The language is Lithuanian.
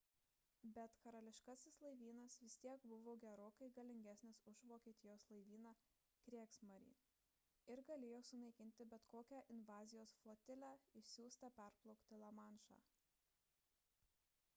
bet karališkasis laivynas vis tiek buvo gerokai galingesnis už vokietijos laivyną kriegsmarine ir galėjo sunaikinti bet kokią invazijos flotilę išsiųstą perplaukti lamanšą